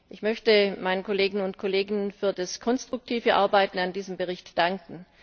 Ich möchte meinen Kolleginnen und Kollegen für das konstruktive Arbeiten an diesem Bericht danken.